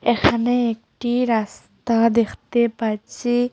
এখানে একটি রাস্তা দেখতে পাচ্ছি।